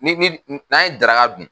Ni ni n'an ye daraka dun